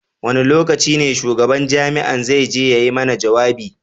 Wane lokacin ne shugaban jami'a zai je ya yi mana jawabi?